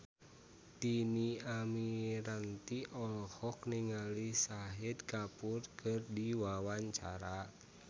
Dhini Aminarti olohok ningali Shahid Kapoor keur diwawancara